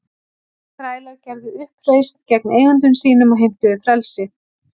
Þrælar gerðu uppreisn gegn eigendum sínum og heimtuðu frelsi.